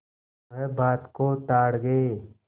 वह बात को ताड़ गये